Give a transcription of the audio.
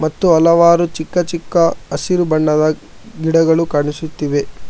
ಮತ್ತು ಹಲವಾರು ಚಿಕ್ಕ ಚಿಕ್ಕ ಹಸಿರು ಬಣ್ಣದ ಗಿಡಗಳು ಕಾಣಿಸುತ್ತಿದೆ.